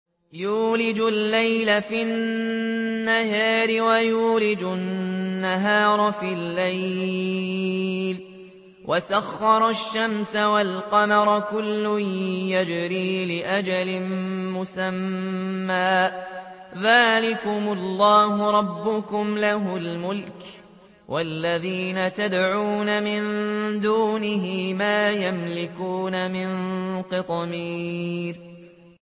يُولِجُ اللَّيْلَ فِي النَّهَارِ وَيُولِجُ النَّهَارَ فِي اللَّيْلِ وَسَخَّرَ الشَّمْسَ وَالْقَمَرَ كُلٌّ يَجْرِي لِأَجَلٍ مُّسَمًّى ۚ ذَٰلِكُمُ اللَّهُ رَبُّكُمْ لَهُ الْمُلْكُ ۚ وَالَّذِينَ تَدْعُونَ مِن دُونِهِ مَا يَمْلِكُونَ مِن قِطْمِيرٍ